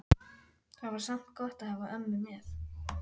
Það var samt gott að hafa ömmu með.